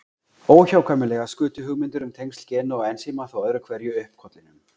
Óhjákvæmilega skutu hugmyndir um tengsl gena og ensíma þó öðru hverju upp kollinum.